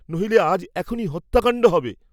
নহিলে আজ এখনি হত্যাকাণ্ড হবে।